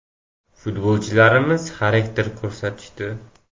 Futbolchilarimiz xarakter ko‘rsatishdi.